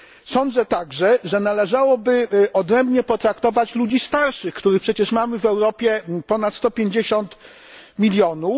Sądzę także, że należałoby odrębnie potraktować ludzi starszych, których przecież mamy w Europie ponad 150 milionów.